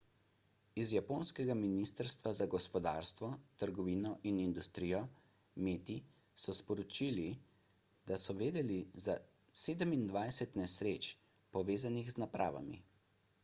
iz japonskega ministrstva za gospodarstvo trgovino in industrijo meti so sporočili da so vedeli za 27 nesreč povezanih z napravami